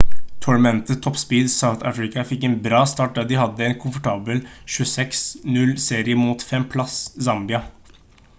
tournament top seeds south africa fikk en bra start da de hadde en komfortabel 26-00 seier mot 5. plass zambia